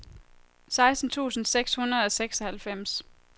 seksten tusind seks hundrede og seksoghalvfems